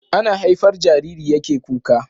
Ana haifar Jariri yake kuka